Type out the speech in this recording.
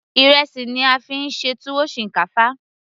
ìrẹsì ni a fí ń ṣe tuwo shinkafa